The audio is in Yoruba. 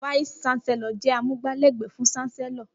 Fàísì ṣàsẹló jẹ àmúgbà lẹgbẹ fún ṣàsẹló.